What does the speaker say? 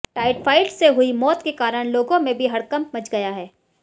typhoid से हुई मौत के कारण लोगों में भी हड़कंप मच गया है